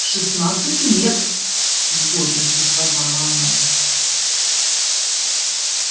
шестнадцать лет с гордостью сказала она